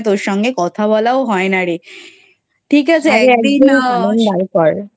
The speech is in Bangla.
তোর সঙ্গে কথা বলাও হয়না রে ঠিক আছে একদিন